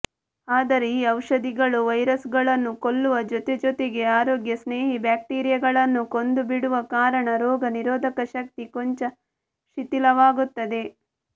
ಆದರೆ ಈ ಔಷಧಿಗಳು ವೈರಸ್ಸುಗಳನ್ನು ಕೊಲ್ಲುವ ಜೊತೆಜೊತೆಗೇ ಆರೋಗ್ಯಸ್ನೇಹಿ ಬ್ಯಾಕ್ಟೀರಿಯಾಗಳನ್ನೂ ಕೊಂದುಬಿಡುವ ಕಾರಣ ರೋಗ ನಿರೋಧಕ ಶಕ್ತಿ ಕೊಂಚ ಶಿಥಿಲವಾಗುತ್ತದೆ